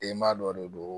Denba dɔ de don